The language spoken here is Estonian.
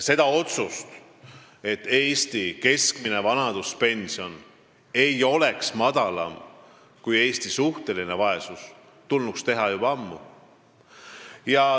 See otsus, et Eesti keskmine vanaduspension ei tohiks olla madalam kui suhtelise vaesuse piir, tulnuks teha juba ammu.